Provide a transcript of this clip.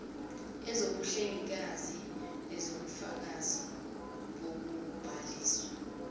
kwezobuhlengikazi kuwubufakazi bokubhaliswa